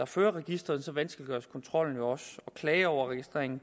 fører registeret så vanskeliggøres kontrollen og klager over registreringen